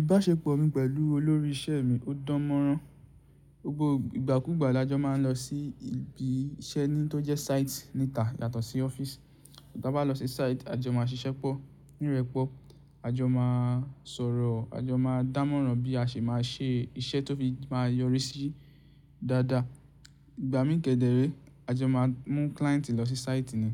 Ìbáṣepọ̀ mi pẹ̀lú olórí iṣẹ́ mi ó dán mọ́rán. Gbogbo ìgbàkúgbà la jọ máa ń lọ sí ibi iṣẹ́ ni tó jẹ́ site níta yàtọ̀ sí ọ́fíìsì. Ta bá lọ sí site a jọ máa ṣiṣẹ́ pọ̀, nírẹ̀pọ̀ a jọ máa sọ̀rọ̀, a jọ máa dán mọ́rán bí a ṣe máa ṣe iṣẹ́ tó fi máa yọrí sí dada. Ìgbà mí ń kẹdẹrẹ́ a jọ máa mú client lọ sí site ni.